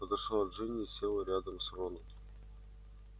подошла джинни и села рядом с роном